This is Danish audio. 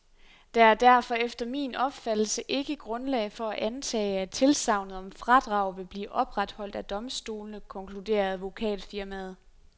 Der er derfor efter min opfattelse ikke grundlag for at antage, at tilsagnet om fradrag vil blive opretholdt af domstolene, konkluderer advokatfirmaet.